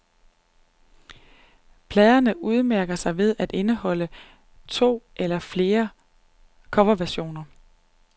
Pladerne udmærker sig ved at indeholde to eller flere coverversioner.